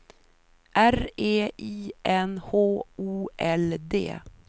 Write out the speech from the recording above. R E I N H O L D